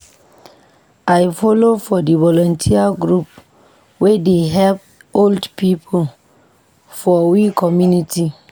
I folo for di volunteer group wey dey help old pipo for we community.